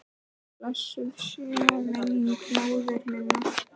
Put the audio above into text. Blessuð sé minning móður minnar.